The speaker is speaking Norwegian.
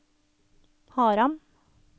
Haram